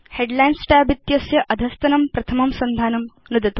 headlines tab इत्यस्य अधस्तनं प्रथमं सन्धानं नुदतु